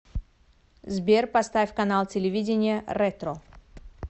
сбер поставь канал телевидения ретро